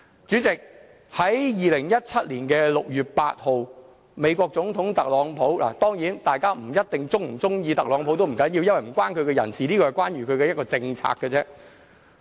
主席，在2017年6月8日，美國總統特朗普——當然，大家不一定喜歡特朗普，不要緊，因為這與他個人無關，只與他的政策有關。